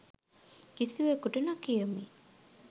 කිසිවෙකුට නොකියමි.